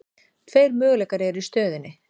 Tveir möguleikar eru í stöðunni.